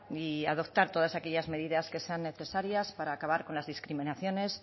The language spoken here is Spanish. y adoptar todas aquellas medidas que sean necesarias para acabar con las discriminaciones